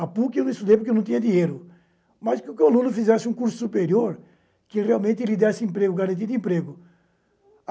A PUC eu não estudei porque eu não tinha dinheiro, mas queria que o aluno fizesse um curso superior que realmente lhe desse emprego, garantia de emprego.